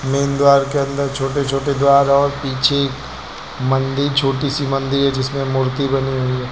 Main द्वार के अंदर छोटे छोटे द्वार और पीछे मंदिर छोटी सी मंदिर है जिसमें मूर्ति बनी हुई है।